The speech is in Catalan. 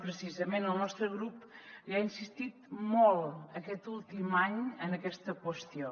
precisament el nostre grup li ha insistit molt aquest últim any en aquesta qüestió